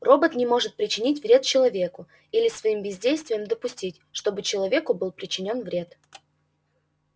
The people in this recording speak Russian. робот не может причинить вред человеку или своим бездействием допустить чтобы человеку был причинён вред